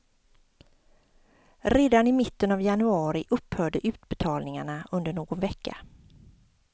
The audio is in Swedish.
Redan i mitten av januari upphörde utbetalningarna under någon vecka.